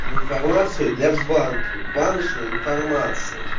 информация для банки баночный информации